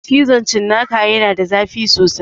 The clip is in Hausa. Cizon cinnaka ya na da zafi sosai